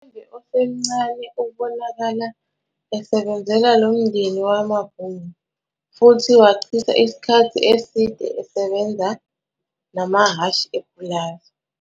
UShembe osemncane ubonakala esebenzela lo mndeni wamaBhunu, futhi wachitha isikhathi eside esebenza namahhashi epulazi.